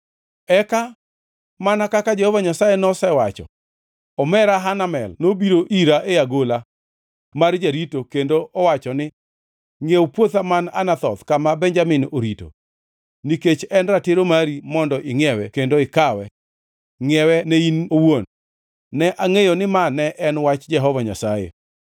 “Eka, mana kaka Jehova Nyasaye nosewacho, omera Hanamel nobiro ira e agola mar jarito kendo owacho ni, ‘Ngʼiew puotha man Anathoth kama Benjamin orito. Nikech en ratiro mari mondo ingʼiewe kendo ikawe, ngʼiewe ne in owuon.’ “Ne angʼeyo ni ma ne en wach Jehova Nyasaye;